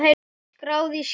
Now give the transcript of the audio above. Skráð í skýin.